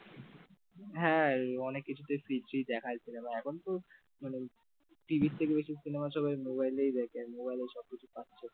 হ্যাঁ অনেক কিছুতেই দেখায় cinema এখন তো মানে TV র থেকে cinema বেশি মোবাইলেই দেখে মোবাইলের সবকিছু পাচ্ছে ।